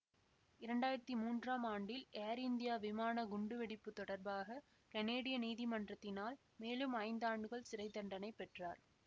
இரண்டாயிரத்தி மூன்றாம் ஆண்டில் ஏர் இந்தியா விமான குண்டு வெடிப்பு தொடர்பாக கனேடிய நீதிமன்றத்தினால் மேலும் ஐந்து ஆண்டுகள் சிறை தண்டனை பெற்றார்